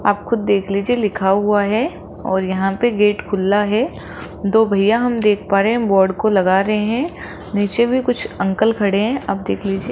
आप खुद देख लीजिए लिखा हुआ हैं और यहाँ पे गेट खुल्ला है दो भइया हम देख पा रहे हैं वार्ड को लगा रहे हैं नीचे भी कुछ अंकल खड़े हैं आप देख लीजिए।